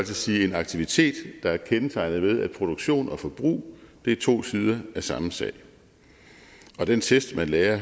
sige en aktivitet der er kendetegnet ved at produktion og forbrug er to sider af samme sag og den test man lærer